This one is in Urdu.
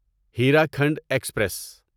ہیراکھنڈ ایکسپریس